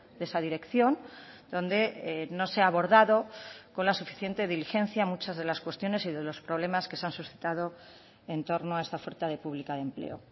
de esa dirección donde no se ha abordado con la suficiente diligencia muchas de las cuestiones y de los problemas que se han suscitado en torno a esta oferta de pública de empleo